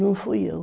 Não fui eu.